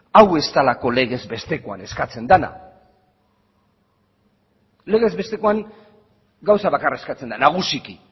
hau ez delako legezbestekoan eskatzen dena legesbestekoan gauza bakarra eskatzen da nagusiki